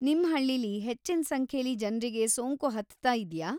ನಿಮ್‌ ಹಳ್ಳೀಲಿ ಹೆಚ್ಚಿನ್‌ ಸಂಖ್ಯೆಲಿ ಜನ್ರಿಗೆ ಸೋಂಕು ಹತ್ತತಾ ಇದ್ಯಾ?